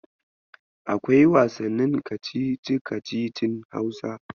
Akwai wasannin kacici-kacicin Hausa.